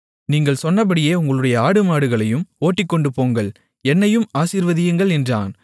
நீங்கள் சொன்னபடியே உங்களுடைய ஆடுமாடுகளையும் ஓட்டிக்கொண்டுபோங்கள் என்னையும் ஆசீர்வதியுங்கள் என்றான்